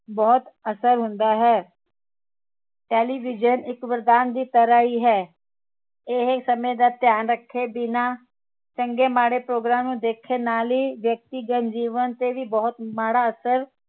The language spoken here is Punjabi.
ਬਹੁਤ ਅਸਰ ਹੁੰਦਾ ਹੈ television ਇਕ ਵਰਦਾਨ ਦੀ ਤਰਾਹ ਹੀ ਹੈ ਇਹ ਸਮੇ ਦਾ ਧਿਆਨ ਰਖੇ ਬਿਨਾ ਚੰਗੇ ਮਾੜੇ program ਨੂੰ ਦੇਖਣ ਨਾਲ ਹੀ ਵਿਅਕਤੀਗਤ ਜੀਵਨ ਤੇ ਵੀ ਬਹੁਤ ਮਾੜਾ ਅਸਰ